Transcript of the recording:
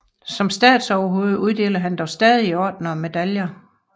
Som statsoverhoved uddeler han dog fortsat ordener og medaljer